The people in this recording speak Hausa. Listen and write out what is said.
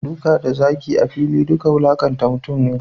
Duka da zagi a fili duka wulakanta mutum ne.